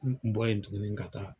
N kun bɔlen tuguni ka taa.